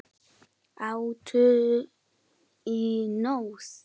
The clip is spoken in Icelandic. Áttu í nös?